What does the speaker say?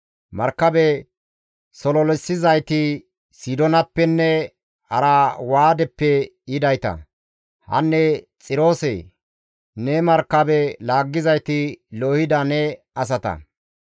Markabe sololissizayti Sidoonappenne Arwaadeppe yidayta; hanne Xiroose, ne markabe laaggizayti loohida ne asata.